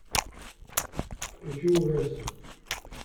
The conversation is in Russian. включи ужастик